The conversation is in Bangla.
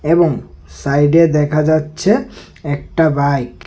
এবং সাইডে দেখা যাচ্ছে একটা বাইক ।